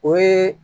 O ye